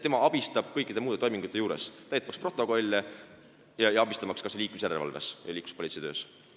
Tema abistab kõikide muude toimingute juures, aitab täita protokolle ja abistab kas või liiklusjärelevalves ja liikluspolitsei töös.